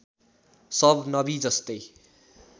सब नबि जस्तै